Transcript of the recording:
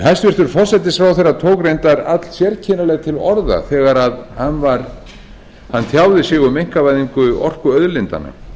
hæstvirtur forsætisráðherra tók reyndar allsérkennilega til orða þegar hann tjáði sig um einkavæðingu orkuauðlindanna